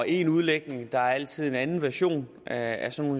én udlægning der er altid en anden version af sådan